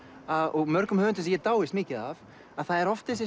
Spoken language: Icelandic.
og mörgum höfundum sem ég dáist mikið af að það er oft þessi